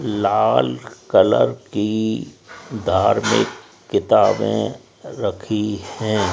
लाल colour की धार्मिक किताबें रखी है।